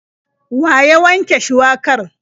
Wa ya wanke shuwakar?